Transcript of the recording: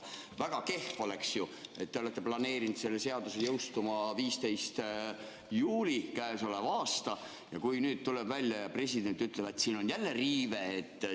Väga kehv oleks ju, kui te olete planeerinud selle seaduse jõustuma 15. juulil k.a ja kui siis tuleb välja, et president ütleb, et siin on jälle riive.